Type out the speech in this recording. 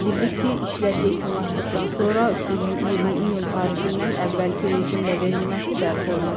Bildirilib ki, işlər yekunlaşdıqdan sonra suyun 20 iyun tarixindən əvvəlki rejimlə verilməsi bərpa olunacaq.